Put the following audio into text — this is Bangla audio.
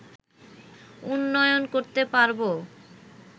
উন্নয়ন করতে পারবো